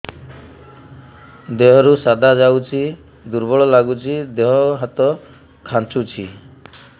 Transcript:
ଦେହରୁ ସାଧା ଯାଉଚି ଦୁର୍ବଳ ଲାଗୁଚି ଦେହ ହାତ ଖାନ୍ଚୁଚି